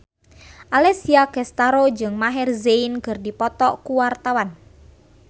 Alessia Cestaro jeung Maher Zein keur dipoto ku wartawan